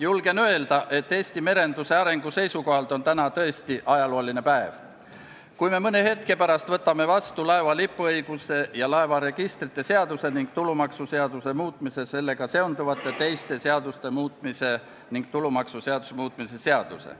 Julgen öelda, et Eesti merenduse arengu seisukohalt on täna tõesti ajalooline päev, kui me mõne hetke pärast võtame vastu laeva lipuõiguse ja laevaregistrite seaduse ning tulumaksuseaduse muutmise ja sellega seonduvalt teiste seaduste muutmise seaduse ning teiste seaduste muutmise seaduse.